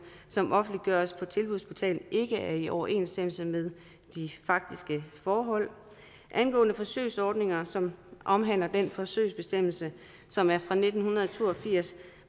som offentliggøres på tilbudsportalen ikke er i overensstemmelse med de faktiske forhold angående forsøgsordninger som omhandler den forsøgsbestemmelse som er fra nitten to og firs